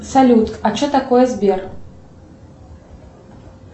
салют а что такое сбер